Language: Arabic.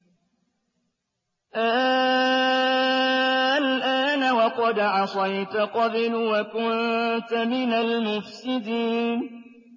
آلْآنَ وَقَدْ عَصَيْتَ قَبْلُ وَكُنتَ مِنَ الْمُفْسِدِينَ